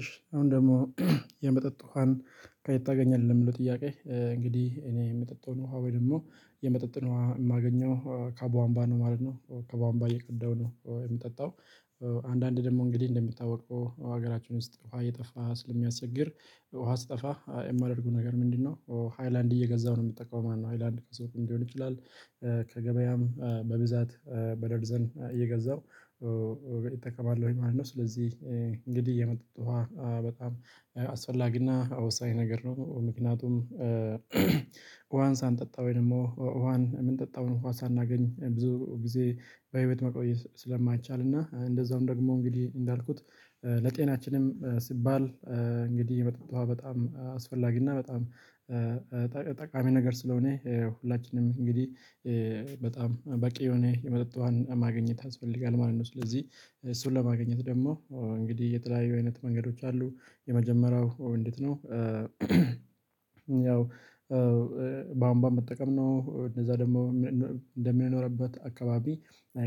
እሺ አሁን ደግሞ የመጠጥ ውሃን ከየት ታገኛለህ? የምለው ጥያቄ እንግዲህ እኔ የምጠጣውን ውሃ ወይ ደግሞ የመጠጥን ነው የማገኘው ከቧንባ ነው ማለት ነው። ከቧንባ የቀደው ነው የሚጠጣው። አንዳንዴ ደግሞ እንግዲህ እንደምታወቀው ሀገራችን ውስጥ ውሃ እየጠፋ ስለሚያስቸግር ውሃ ስትጠፋ የማደርገው ነገር ምንድነው? ሃይላንድ እየገዛሁ ነው የምትጠቀመው ማነው ሃይላንድ ከሰው ሊሆን ይችላል። ከገበያም በብዛት በደርዘን እየገዛሁ እጠቀማለሁኝ ማለት ነው። ስለዚህ እንግዲህ የመጡት ውሃ በጣም አስፈላጊና ወሳኝ ነገር ነው። ምክንያቱም ውሃን ሳንጠጣ ወይ ደግሞ ወሃን ምንጠጣው እንኳን ሳናገኝ ብዙ ጊዜ በቤት መቆየት ስለማይቻልና እንደዛውም ደግሞ እንግዲህ እንዳልኩት ለጤናችንም ሲባል እንግዲህ መጠጥ ውሃ በጣም አስፈላጊ እና በጣም ጠቃሚ ነገር ስለሆነ ሁላችንም እንግዲህ በጣም በቂ የሆነ የመጠጥ ውሃን ማግኘት ያስፈልጋል ማለት ነው። ስለዚህ እሱን ለማግኘት ደግሞ እንግዲህ የተለያዩ አይነት መንገዶች አሉ። የመጀመሪያው እንዴት ነው? ያው ቧንቧመጠቀም ነው። እንደዛ ደግሞ እንደምንኖርበት አካባቢ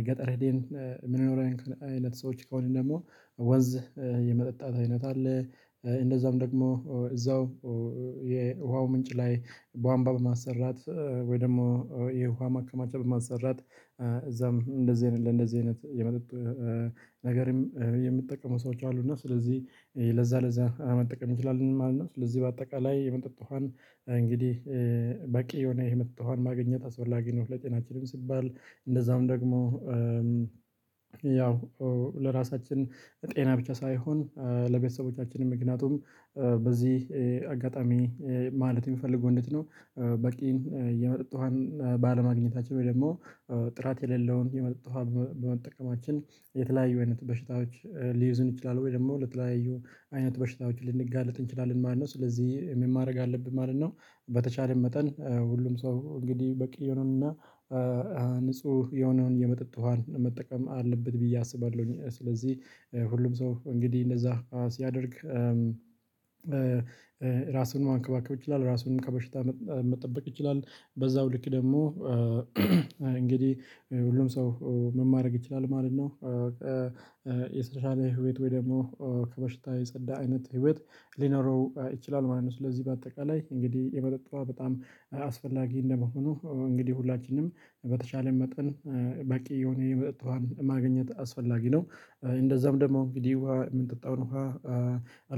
ገጠር ሄደን የምንኖር አይነት ሰዎች ከሆነ ደግሞ ወንዝ የመጠጣት አይነት አለ። እንደዛም ደግሞ እዛው የውሃው ምንጭ ላይ ቧንቧ በማሰራት ወይ ደግሞ የውሃ ማከማቻ በማሰራት እዛም እንደዚህ አይነት ለእንደዚህ አይነት የመጠጥ ነገርም የምጠቀሙ ሰዎች አሉና እና ስለዚህ ለዛ ለዛ አመጣቀም ማለት ነው። ለዚህ በአጠቃላይ የመጠጥ ውሃን እንግዲህ በቂ የሆነ የመጠጥ ውሃን ማግኘት አስፈላጊ ነው። ለጤናችንም ሲባል እንደዛውም ደግሞ ያው ለራሳችን ጤና ብቻ ሳይሆን ለቤተሰቦቻችንም ምክንያቱም በዚህ አጋጣሚ ማለት የሚፈልገው እንዴት ነው? በቂ እየመጠጥን ባለማግኘታቸው ወይ ደግሞ ጥራት የሌለውን የመጠጥን በመጠቀማችን የተለያዩ አይነት በሽታዎች ሊይዝን ይችላል ወይ ደግሞ ለተለያዩ አይነት በሽታዎች ልንጋለጥ እንችላለን ማለት ነው። ስለዚህ የማድረግ አለብኝ ማለት ነው። በተቻለን መጠን ሁሉም ሰው እንግዲህ በቂ የሆነውን ንጹህ የሆነውን የመጠጥ ውሃን መጠቀም አለበት ብዬ አስባለሁኝ። ስለዚህ ሁሉም ሰው እንግዲህ እንደዛ ሲያደርግ ራስን ማንከባከብ ይችላል ራስን ከበሽታ መጠበቅ ይችላል። በዛው ልክ ደግሞ እንግዲህ ሁሉም ሰው ምን ማረግ ይችላል ማለት ነው። በቃ ህይወት ወይ ደግሞ ከበሽታ የጸዳ አይነት ህይወት ሊኖረው ይችላል ማለት ነው። ስለዚህ በአጠቃላይ እንግዲህ የመጠጥ በጣም አስፈላጊ እንደመሆኑ እንግዲህ ሁላችንም በተቻለን መጠን በቂ የሆነ የመጠጥ ውሃን ማግኘት አስፈላጊ ነው። እንደዛም ደግሞ እንግዲህ ውሃ የምንጠጣውን ውሃ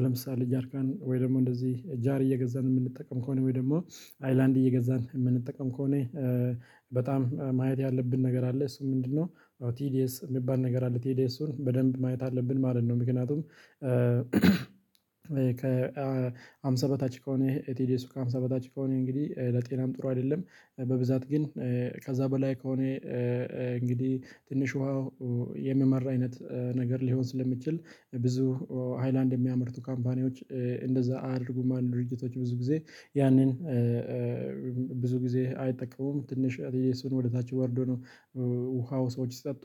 ለምሳሌ ጃርካን ወይ ደግሞ እንደዚህ ጃር እየገዛን የምንጠቀም ከሆነ ወይ ደግሞ ሃይላንድ እየገዛን የምንጠቀም ከሆነ በጣም ማየት ያለብን ነገር አለ። እሱ ምንድነው? ያው ቲዲየስ ቲዲኤስ የሚባል ነገር አለ ቲዲኤሱን በደንብ ማየት አለብን ማለት ነው። ምክንያቱም ከሃምሳ በታች ከሆነ ኤቲዲ ከሃምሳ በታች ከሆነ እንግዲህ ለጤናም ጥሩ አይደለም። በብዛት ግን ከዛ በላይ ከሆነ እንግዲህ ትንሽ ውሃው የሚመርአይነት ነገር ሊሆን ስለሚችል ብዙ ሃይላንድ የሚያመርቱ ካምፓኒዎች እንደዛ አያደርጉማ ድርጅቶች ብዙ ጊዜ ያንን ብዙ ጊዜ አይጠቀሙም። ትንሽ የሱን ወደ ታች ጓርዶ ነው። ውሃው ሰዎች ስጠጡ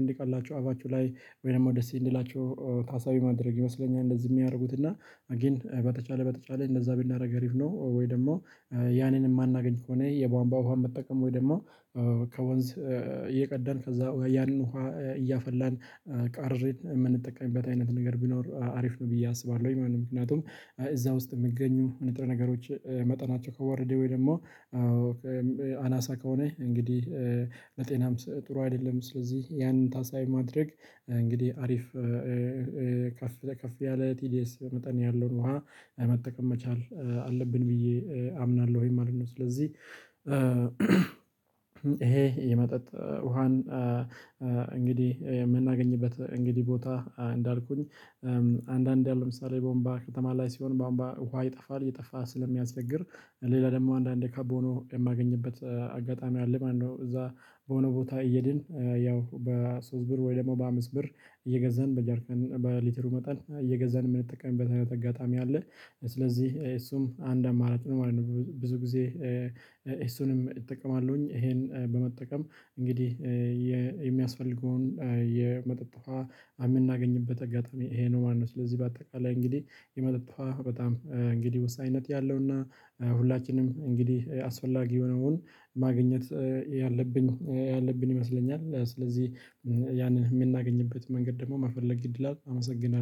እንዲቀላቸው አባችሁ ላይ ወይም ደስ የሚላቸው ታሳቢ ማድረግ ይመስለኛል እንደዚህ የሚያደርጉት እና አጌን በተቻለ በተቻለ እንደዛ ብናደርግ አሪፍ ነው። ወይ ደግሞ ያንን የማናገኝ ከሆነ የቧንቧ ውሃ መጠቀም ወይ ደግሞ ከወንዝ እየቀዳን ከዛ ወይ ያንን ውሃ እያፈላን ቃርሬን የምንጠቀምበት አይነት ነገር ቢኖር አሪፍ ነው። ብዬ አስባለሁ። ወይ ማንም ምክንያቱም እዛ ውስጥ የምገኙ ንጥረ ነገሮች መጠናቸው ከወረዴ ወይ ደግሞ አናሳ ከሆነ እንግዲህ መጤናም ጥሩ አይደለም። ስለዚህ ያንን ታሳይ ማድረግ እንግዲህ አሪፍ ከፍ ከፍ ያለ ቲዲኤስ በመጠን ያለውን ውሃ መጠቀም መቻል አለብን። ብዬ አምናለሁ ወይ ማለት ነው። ስለዚህ ይሄ የመጠጥ ውሃን እንግዲህ የምናገኝበት እንግዲህ ቦታ እንዳልኩኝ አንዳንዴ ለምሳሌ ቧንቧ ከተማ ላይ ሲሆን ቧንቧ ውሃ ይጠፋል እየጠፋ ስለሚያስደግር ሌላ ደግሞ አንዳንዴ ከቦኖ የማገኝበት አጋጣሚ አለ። ማነው እዛ በሆነ ቦታ እየድን ያው በሶስት ብር ወይ ደግሞ በአምስት ብር እየገዛን በጃርካን በሊትሩ መጠን እየገዛን የምንጠቀመው በተገጣሚ አለ ስለዚህ እሱም አንድ አማራጭ ማለት ነው። ብዙ ጊዜ እሱንም እጠቀማለሁኝ ይሄን በመጠቀም እንግዲህ የሚያስፈልገውን የመጠጥ ውሃ እምናገኝበት አጋጣሚ ይሄ ነው። ማነው ስለዚህ በአጠቃላይ እንግዲህ የመጠጥፋ በጣም እንግዲህ ወሳኝነት ያለውና ሁላችንም እንግዲህ አስፈላጊ የሆነውን ማግኘት ያለብኝ ያለብን ይመስለኛል። ስለዚህ ያንን የምናገኝበት መንገድ ደግሞ መፈለግ እድል አመሰግናለሁ